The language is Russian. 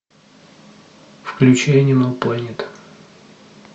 включи энимал плэнет